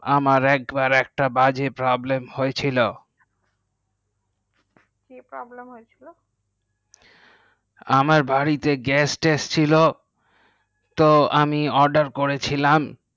আমার একবার বাজে problem হয়ে ছিল। কি problem হয়ে ছিল। আমার বাড়িতে গ্যাস ছিল তো আমি order করেছিলাম